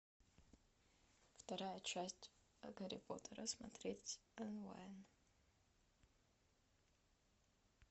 вторая часть гарри поттера смотреть онлайн